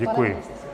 Děkuji.